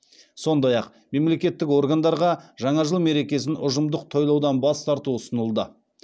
сондай ақ мемлекеттік органдарға жаңа жыл мерекесін ұжымдық тойлаудан бас тарту ұсынылды